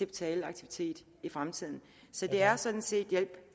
betale aktivitet i fremtiden så det er sådan set hjælp